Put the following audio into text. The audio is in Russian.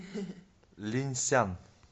линьсян